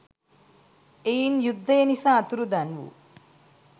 එයින් යුද්ධය නිසා අතුරුදන් වූ